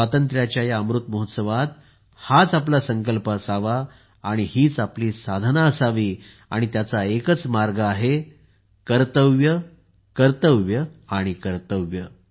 स्वातंत्र्याच्या या अमृत महोत्सवात हाच आपला संकल्प असावा आणि हीच आपली साधना असावी आणि त्याचा एकच मार्ग आहे कर्तव्य कर्तव्य आणि कर्तव्य